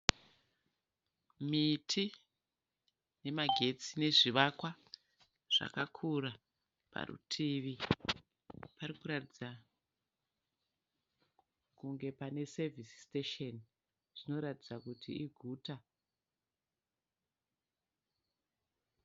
Miti yemagetsi nezvivakwa zvakakura. Parutivi pari kuratidza kunge pane sevisi sitesheni zvinoratidza kuti iguta.